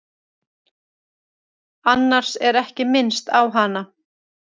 Annars er ekki minnst á hana.